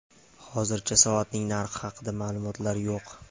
Hozircha soatning narxi haqida ma’lumotlar yo‘q.